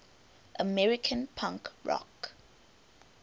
american punk rock